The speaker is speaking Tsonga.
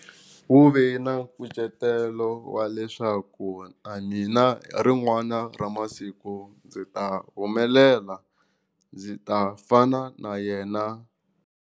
Wu ve na nkucetelo wa leswaku na mina hi rin'wana ra masiku ndzi ta humelela ndzi ta fana na yena.